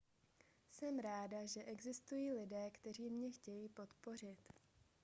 jsem ráda že existují lidé kteří mě chtějí podpořit